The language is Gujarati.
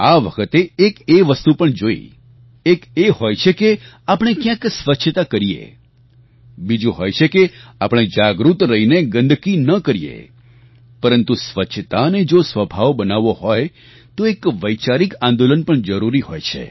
આ વખતે એક એ વસ્તુ પણ જોઈ એક એ હોય છે કે આપણે ક્યાંક સ્વચ્છતા કરીએ બીજુ હોય છે કે આપણે જાગૃત રહીને ગંદકી ન કરીએ પરંતુ સ્વચ્છતાને જો સ્વભાવ બનાવવો હોય તો એક વૈચારિક આંદોલન પણ જરૂરી હોય છે